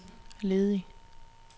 ledig